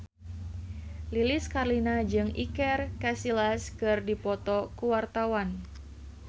Lilis Karlina jeung Iker Casillas keur dipoto ku wartawan